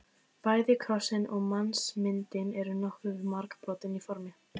Bæði krossinn og mannsmyndin eru nokkuð margbrotin í formi.